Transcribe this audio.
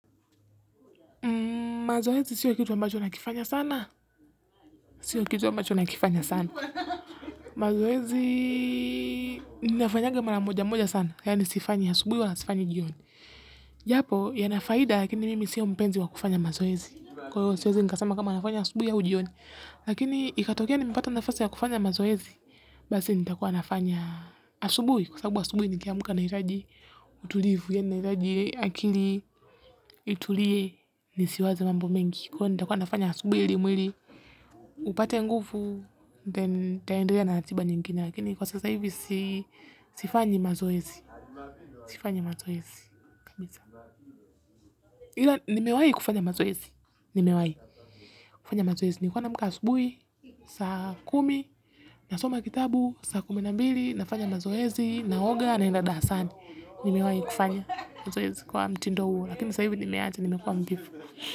Mazoezi sio kitu ambacho nakifanya sana. Sio kitu ambacho na kifanya sana. Mazoezi nafanyanga mara moja moja sana. Hayo nisifanye asubuhi wala sifanyi jioni. Japo yana faida lakini mimi sio mpenzi wa kufanya mazoezi. Kwa hivyo siwezi nikasema kama nafanya asubuhi au jioni. Lakini ikatokea nimepata nafasi ya kufanya mazoezi. Basi nitakuwa nafanya asubuhi. Kwa sababu asubuhi nikiamka nahitaji utulivu yaani nahitaji akili itulie nisiwaze mambo mengi. Kwa hivo nitakuwa nafanya asubuhi ili mwili, upate nguvu, then nitaenderea na ratiba nyingine lakini kwa sasa hivi sifanyi mazoezi, sifanyi mazoezi, kabisa. Ila nimewahi kufanya mazoezi, nimewahi kufanya mazoezi, nilikuwa naamka asubuhi, saa kumi, nasoma kitabu, saa kumi na mbili, nafanya mazoezi, naoga, naenda darasani, nimewahi kufanya mazoezi kwa mtindo huu, lakini saa hii venye nimeacha, nimekuwa mvivu.